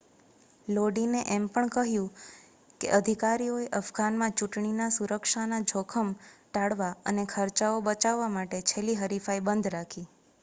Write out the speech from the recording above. લોડીને એમ પણ કહ્યું કે અધિકારીઓએ અફઘાનમાં ચૂંટણીના સુરક્ષાનું જોખમ ટાળવા અને ખર્ચાઓ બચાવવા માટે છેલ્લી હરીફાઈ બંધ રાખી